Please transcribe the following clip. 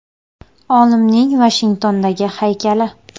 Olimning Vashingtondagi haykali.